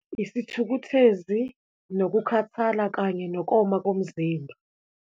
Isithukuthezi, nokukhathala kanye nokoma komzimba.